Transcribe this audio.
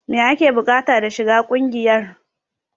Me ake bukata da shiga kungiyar?